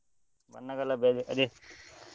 ಬಣ್ಣಗಳ ಹಬ್ಬ ಅದೇ.